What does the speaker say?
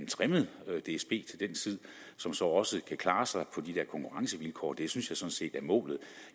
trimmet dsb til den tid som så også kan klare sig på de der konkurrencevilkår det synes jeg sådan set er målet